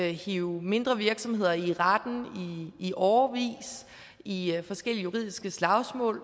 at hive mindre virksomheder i retten i årevis i forskellige juridiske slagsmål